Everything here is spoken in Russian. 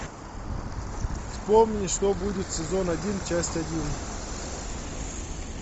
вспомни что будет сезон один часть один